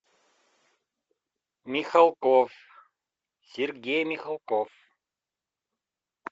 михалков сергей михалков